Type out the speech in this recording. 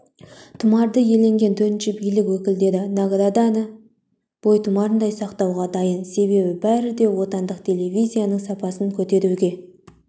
тұмарды иеленген төртінші билік өкілдері награданы бойтұмарындай сақтауға дайын себебі бәрі де отандық телевизияның сапасын көтеруге